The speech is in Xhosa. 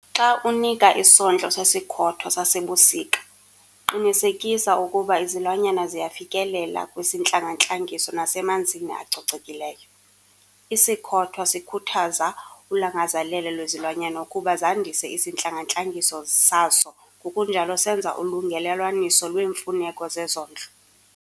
Xa unika isondlo sesikhothwa sasebusika, qinisekisa ukuba izilwanyana ziyafikelela kwisintlangantlangiso nasemanzini acocekileyo. Isikhothwa sikhuthaza ulangazelelo lwezilwanyana ukuba zandise isintlangantlangiso sazo ngokunjalo senza ulungelelwaniso lweemfuneko zezondlo.